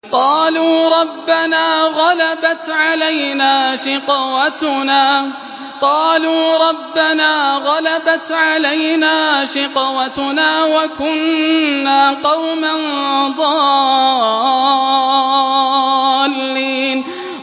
قَالُوا رَبَّنَا غَلَبَتْ عَلَيْنَا شِقْوَتُنَا وَكُنَّا قَوْمًا ضَالِّينَ